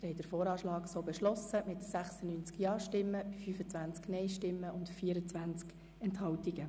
Sie haben den VA 2018 so beschlossen mit 96 Ja- gegen 25 Nein-Stimmen bei 24 Enthaltungen.